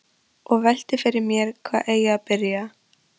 Og velti fyrir mér hvar eigi að byrja.